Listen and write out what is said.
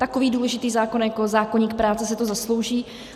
Takový důležitý zákon jako zákoník práce si to zaslouží.